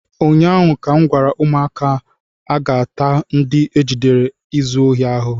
ụnyaahụ ka m gwara ụmụaka, aga-ata ndị ejidere na-ezu ohi ahụhụ!